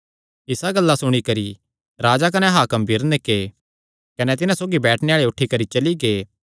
इसा गल्ला सुणी करी राजा कने हाकम बिरनीके कने तिन्हां सौगी बैठणे आल़े उठी करी चली गै